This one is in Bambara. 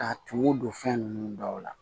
K'a tumu don fɛn ninnu dɔw la